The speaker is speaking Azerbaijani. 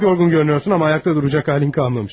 Çox yorğun görünürsən, amma ayaqda duracaq halın qalmamış.